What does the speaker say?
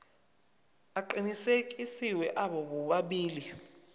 aqinisekisiwe abo bobabili